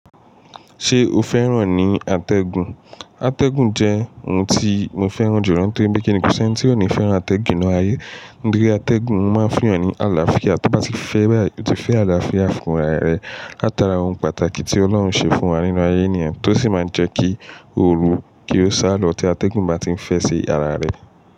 Ṣé o fẹ́ràn ní atẹ́gùn? Atẹ́gùn jẹ́ ohun tí mo fẹ́ràn jùlọ nítorí pé kíni kò sí ẹni tí ò ní fẹ́ràn atẹ́gùn nínú ayé. Nítori atẹ́gùn o máa ń fún ọ ní àlàáfíà, tí bá ti fẹ́ bá yi o ti fẹ́ àlàáfíà fún ara rẹ. Láti ara ohun pàtàkì tí ọlọ́run ṣe fún wa nínú ayé ènìyàn tó sì máa ń jẹ́ kí òru kí ó sá lọ tí atẹ́gùn bá ti ń fẹ́ sí ara rẹ.